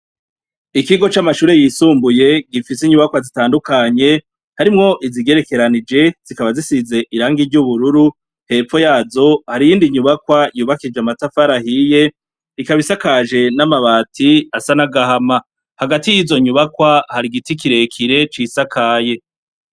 Ikigo c'amashure yisumbuye gifise inyubakwa zitandukanye, harimwo izigerekeranije zikaba zisize irangi ry'ubururu, hepfo yazo hari iyindi nyubakwa yubakishije amatafari ahiye, ikaba isakaje n'amabati asa n'agahama, hagati y'izo nyubakwa hari igiti kirekire cisakaye.